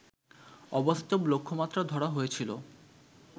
অবাস্তব লক্ষ্যমাত্রা ধরা হয়েছিল